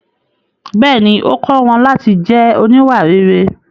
Bẹ́ẹ̀ni, ó kọ́ wọn láti jẹ́ oníwà rere.